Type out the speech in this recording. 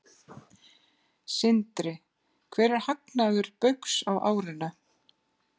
Sindri: Hver er hagnaður Baugs á árinu?